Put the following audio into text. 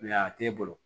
a t'e bolo